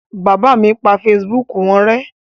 Bàbá mi pa Facebook wọn rẹ́.